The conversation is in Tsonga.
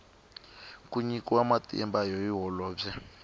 ku nyikiwa matimba hi holobye